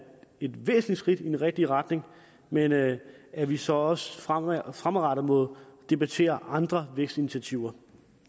et væsentligt skridt i den rigtige retning men at at vi så også fremadrettet må debattere andre vækstinitiativer